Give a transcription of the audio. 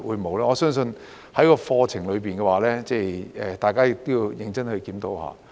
我相信在課程方面，大家要認真檢討一下。